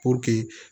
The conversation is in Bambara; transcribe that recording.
Puruke